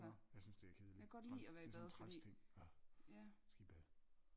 Nå jeg synes det er kedeligt træls det er sådan en træls ting jeg skal i bad